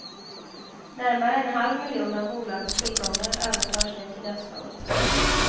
Närmare en halv miljon av bolagets tillgångar överförs nu till dödsboet.